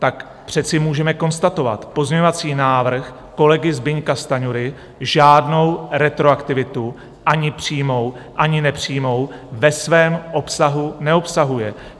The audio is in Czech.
Tak přece můžeme konstatovat, pozměňovací návrh kolegy Zbyňka Stanjury žádnou retroaktivitu, ani přímou, ani nepřímou, ve svém obsahu neobsahuje.